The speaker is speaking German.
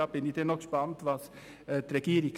Ich bin also gespannt auf das Votum der Regierung.